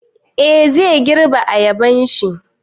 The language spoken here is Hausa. Eh, zai girbe ayabanshi